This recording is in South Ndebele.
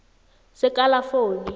sekalafoni